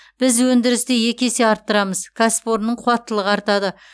біз өндірісті екі есе арттырамыз кәсіпорынның қуаттылығы артады